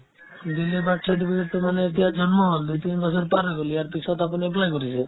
delay birth certificate তত মানে এতিয়া জন্ম হ'ল দুই তিন বছৰ পাৰ হৈ গ'ল ইয়াৰ পিছত আপুনি apply কৰিলে